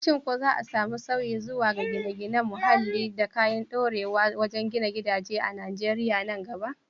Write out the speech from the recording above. Shin ko za a samu sauyi zuwa ga gine-ginen muhalli da kayan ɗorewa wajen gina gidaje a Najeriya nan gaba?